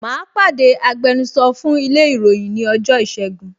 Mà á pàdé agbẹnusọ fún ilé ìròyìn ní ọjọ́ ìṣẹ́gun